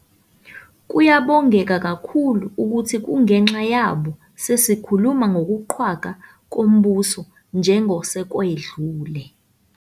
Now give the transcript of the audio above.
Kuyabongeka kakhulu ukuthi kungenxa yabo sesikhuluma ngokuqhwagwa kombuso njengosekwedlule.